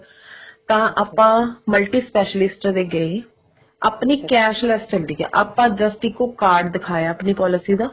ਤਾਂ ਆਪਾਂ multispecialist ਦੇ ਗਏ ਆਪਣੀ cashless ਹੁੰਦੀ ਆ ਆਪਾਂ just ਇੱਕ ਉਹ card ਦਿਖਾਇਆ ਆਪਣੀ policy ਦਾ